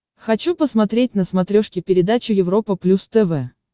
хочу посмотреть на смотрешке передачу европа плюс тв